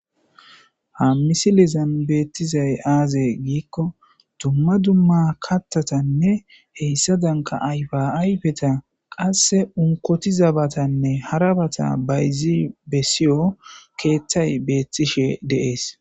Ha misilezan betizay aze giiko duma duma kathatanee hesadanika ayipa ayipeta qase olikotiza batanee hara bata bayizi besewu kethay betishe de'es